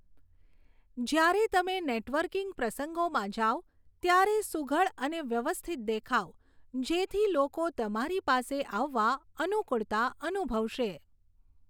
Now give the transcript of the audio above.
જ્યારે તમે નેટવર્કિંગ પ્રસંગોમાં જાવ ત્યારે સુઘડ અને વ્યવસ્થિત દેખાવ, જેથી લોકો તમારી પાસે આવવા અનુકુળતા અનુભવશે.